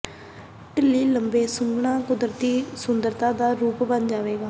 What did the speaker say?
ਢਿੱਲੀ ਲੰਬੇ ਸੁੰਘਣਾ ਕੁਦਰਤੀ ਸੁੰਦਰਤਾ ਦਾ ਰੂਪ ਬਣ ਜਾਵੇਗਾ